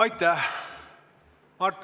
Aitäh!